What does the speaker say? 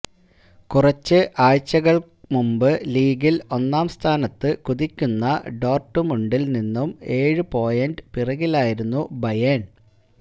കുറച്ച് ആഴ്ച്ചകൾ മുമ്പ് ലീഗിൽ ഒന്നാം സ്ഥാനത്ത് കുതിക്കുന്ന ഡോർടുമുണ്ടിൽ നിന്നും ഏഴ് പോയിന്റ് പിറകിലായിരുന്നു ബയേൺ